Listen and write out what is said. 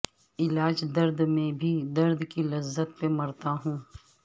علاج درد میں بھی درد کی لذت پہ مرتا ہوں